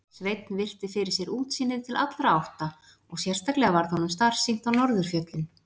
Sveinn virti fyrir sér útsýnið til allra átta og sérstaklega varð honum starsýnt á norðurfjöllin.